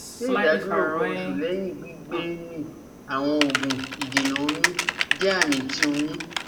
Ṣe idaduro nkan osu, lẹhin gbigbemi awọn oogun idena oyun jẹ ami ti oyun?